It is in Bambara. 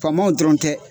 Faamaw dɔrɔn tɛ